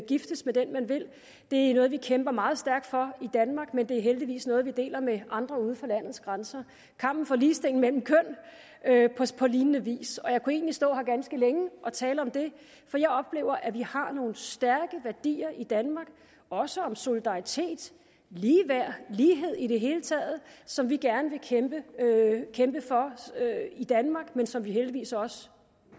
giftes med den man vil det er noget vi kæmper meget stærkt for i danmark men det er heldigvis noget vi deler med andre uden for landets grænser kampen for ligestilling mellem køn på lignende vis og jeg kunne egentlig stå her ganske længe og tale om det for jeg oplever at vi har nogle stærke værdier i danmark også om solidaritet ligeværd lighed i det hele taget som vi gerne vil kæmpe for i danmark men som vi heldigvis også